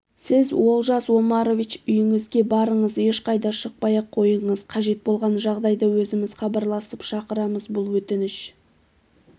сіз олжас омарович үйіңізге барыңыз ешқайда шықпай-ақ қойыңыз қажет болған жағдайда өзіміз хабарласып шақырамыз бұл өтініш